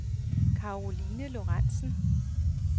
Caroline Lorentzen